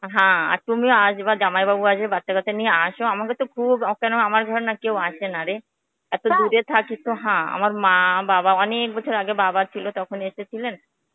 হ্যাঁ, তুমি আসবা জামাইবাবু আসবে বাচ্ছা কাচ্ছা নিয়ে আস আমাদের তো খুব হয়, আমার ঘরে কেউ আসেনারে. এতো দুরে থাকি তো হ্যাঁ আমার মা বাবা অনেক বছর আগে বাবাছিলো তখন এসেছিলেন.